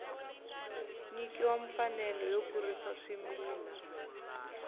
nyikiwa mfanelo yo kurisa swimila